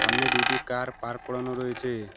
সামনে দুইটি car park করানো রইছে।